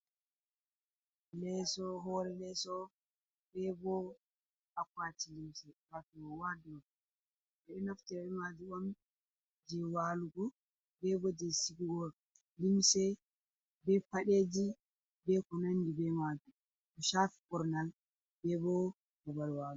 Lesso, hore lesso, be bo akwaki limse wato waderop ɓeɗo naftira be majum on je walugo, be bo je sigugo limse be paɗeji be ko nandi be maji, ko chafi ɓornal be bo babal walugo.